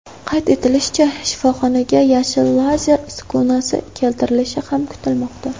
Qayd etilishicha, shifoxonaga yashil lazer uskunasi keltirilishi ham kutilmoqda.